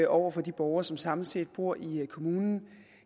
over for de borgere som samlet set bor i kommunen